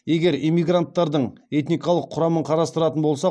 егер иммигранттардың этникалық құрамын қарастыратын болсақ